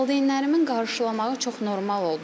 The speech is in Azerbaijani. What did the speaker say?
Valideynlərimin qarşılamağı çox normal oldu.